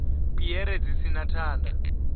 piere dzi si na thanda